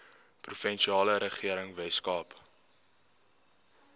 provinsiale regering weskaap